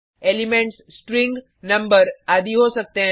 elements string number आदि हो सकते हैं